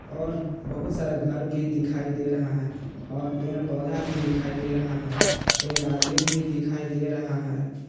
और बहुत सारा घर भी दिखाई दे रहा है और पेड़ पौधा भी दिखाई दे रहा है एक आदमीन भी दिखाई दे रहा है।